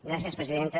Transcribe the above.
gràcies presidenta